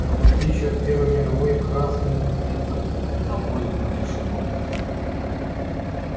но в отличие от первой мировой красным это на пользу не шло